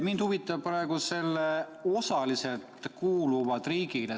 “ Mind huvitab praegu see "kuuluvad osaliselt riigile".